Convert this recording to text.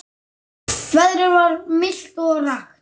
Veðrið var milt og rakt.